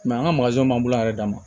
an ka man bolo a yɛrɛ dama